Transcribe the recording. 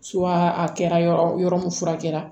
a kɛra yɔrɔ yɔrɔ min fura kɛra